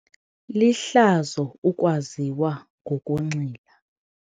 Lihlazo ukwaziwa ngokunxila.